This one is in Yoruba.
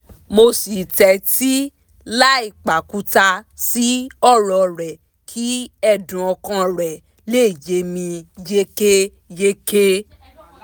mo sì tẹ́tí láì pàkúta sí ọ̀rọ̀ rẹ̀ kí ẹ̀dùn ọkàn rẹ̀ lè yé mi yékéyéké